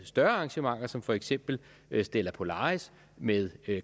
større arrangementer som for eksempel stella polaris med